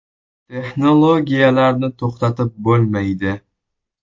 Texnologiyalarni to‘xtatib bo‘lmaydi.